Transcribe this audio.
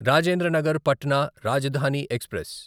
Rajendra Nagar Patna Rajdhani express